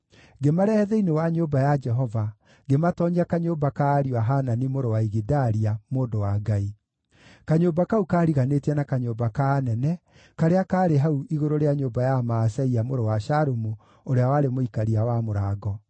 Ngĩmarehe thĩinĩ wa nyũmba ya Jehova, ngĩmatoonyia kanyũmba ka ariũ a Hanani mũrũ wa Igidalia, mũndũ wa Ngai. Kanyũmba kau kaariganĩtie na kanyũmba ka anene, karĩa kaarĩ hau igũrũ rĩa nyũmba ya Maaseia mũrũ wa Shalumu, ũrĩa warĩ mũikaria wa mũrango.